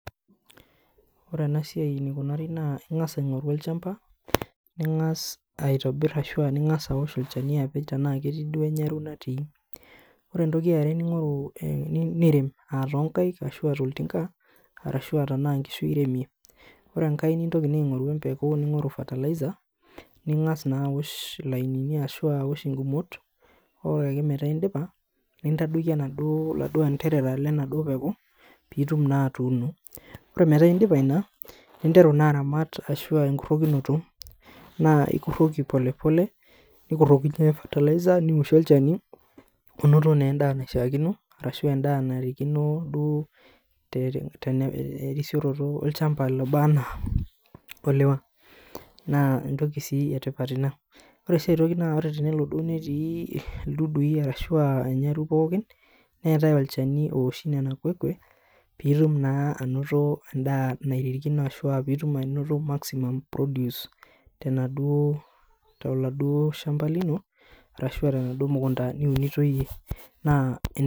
Ore enasia enikunari ba ingasa iangoru olchamba ningasa aosh olchani ana ketii duo natii ore entoki eeare nirem tonkaik ashu toltinka arashu anaa tonkishu iremie ore enkae ningoru empeku ningasa aosh lainini ashu ore peaku indipa nintadoli laduo anderera lenaduo peku pitum atuuno ore peaku indipa ina ninteru na arem ashua a enkurokinoto na ikuroki polepole nikuroki nioshie olchani onoto na endaa naishaakino ashu endaa duo terisioroto olchamba oba na oliwa na entoki etipat ina ore si aitoki na tenelo netii ilduduo ashu irnyarui pokineetae olchanu oosho pitum ainoto endaa naishaakino toladuo shamba lino ashu tenaduo mukunda niunito iyie